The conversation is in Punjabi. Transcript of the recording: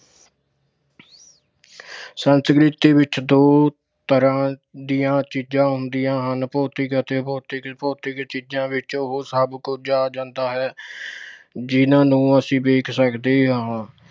ਸੰਸਕ੍ਰਿਤ ਵਿੱਚ ਦੋ ਤਰ੍ਹਾਂ ਦੀਆਂ ਚੀਜ਼ਾਂ ਹੁੰਦੀਆਂ ਹਨ- ਭੌਤਿਕ ਅਤੇ ਅਭੌਤਿਕ। ਭੌਤਿਕ ਚੀਜਾਂ ਵਿੱਚ ਉਹ ਸਭ ਕੁਝ ਆ ਜਾਂਦਾ ਹੈ, ਜਿਹਨਾਂ ਨੂੰ ਅਸੀਂ ਵੇਖ ਸਕਦੇ ਹਾਂ